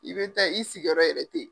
I bɛ taa i sigiyɔrɔ yɛrɛ teyi.